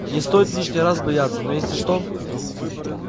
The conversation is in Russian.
не стоит лишний раз бояться но если что